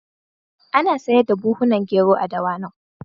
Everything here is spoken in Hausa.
Ana sayar da buhhunan gero a Dawanau.